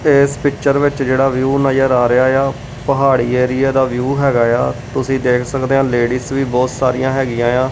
ਏਸ ਪਿੱਚਰ ਵਿੱਚ ਜਿਹੜਾ ਵਿਊ ਨਜ਼ਰ ਆ ਰਿਹਾ ਆ ਪਹਾੜੀ ਏਰੀਆ ਦਾ ਵਿਊ ਹੈਗਾ ਏ ਆ ਤੁਸੀ ਦੇਖ ਸਕਦੇ ਆ ਲੇਡੀਜ ਵੀ ਬਹੁਤ ਸਾਰੀਆਂ ਹੈਗੀਆਂ ਆ।